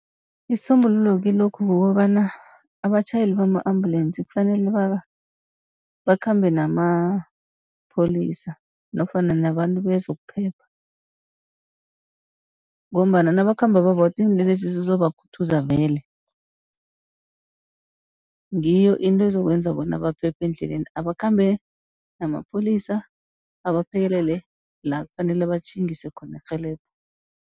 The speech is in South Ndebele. Isisombululo kilokhu kukobana abatjhayeli bama-ambulensi kufanele bakhambe namapholisa nofana nabantu bezokuphepha. Ngombana nabakhamba babodwa iinlelesi zizobakhuthuza vele. Ngiyo into ezokwenza bona baphephe endleleni abakhambe namapholisa, abaphekelele la kufanele batjhingise khona irhelebho.